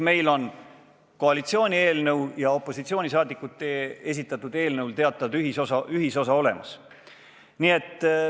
Nii et koalitsiooni ja opositsiooni esitatud eelnõudel on teatav ühisosa olemas.